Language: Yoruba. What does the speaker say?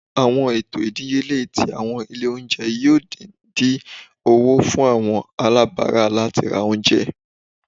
Awọn eto idiyele ti awọn ile ounjẹ yoo di din owo fun awọn alabara lati ra ounjẹ